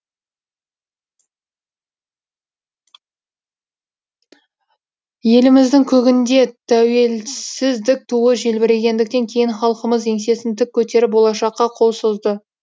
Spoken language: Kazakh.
еліміздің көгінде тәуелсіздік туы желбірегендіктен кейін халқымыз еңсесін тік көтеріп болашаққа қол созды